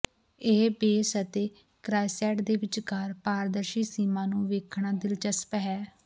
ਇਹ ਬੇਸ ਅਤੇ ਕ੍ਰਾਈਸੈਂਟ ਦੇ ਵਿਚਕਾਰ ਪਾਰਦਰਸ਼ੀ ਸੀਮਾ ਨੂੰ ਵੇਖਣਾ ਦਿਲਚਸਪ ਹੈ